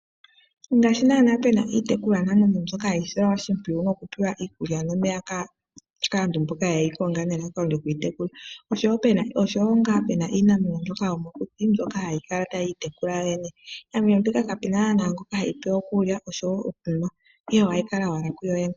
Ngaashi naana pena iitekulwanamwenyo mbyoka hayi silwa oshimpwiyu noku pewa iikulya nomeya kaantu mboka ye yi konga, nelalakano lyoku yi tekula. Oshowo ngaa pena iinamwenyo mbyoka yomokuti mbyoka hayi kala ta yi itekula yoyene. Iinamwenyo mbika kapena naana ngoka heyi pe okulya oshowo okunwa, ihe ohayi kala owala kuyoyene.